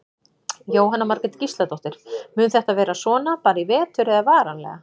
Jóhanna Margrét Gísladóttir: Mun þetta vera svona bara í vetur eða varanlega?